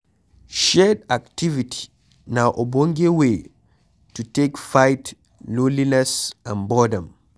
Shared activity na ogbonge wey to take fight loneliness and boredom